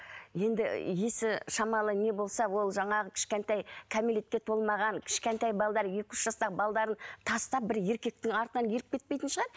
енді есі шамалы не болса ол жаңағы кішкентай кәмелетке толмаған кішкентай екі үш жастағы тастап бір еркектің артынан еріп кетпейтін шығар